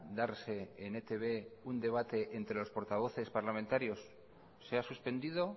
darse en etb un debate entre los portavoces parlamentarios se ha suspendido